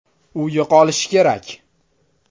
U yo‘qolishi kerak.